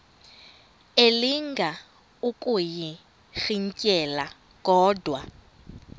elinga ukuyirintyela kodwa